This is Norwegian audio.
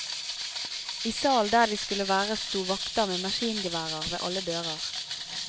I salen der de skulle være sto vakter med maskingeværer ved alle dører.